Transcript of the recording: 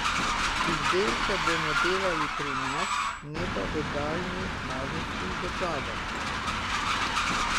Izdelke bomo delali pri nas, ne pa v daljnih azijskih državah.